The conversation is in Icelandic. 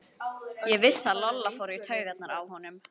Ég vissi að Lolla fór í taugarnar á honum.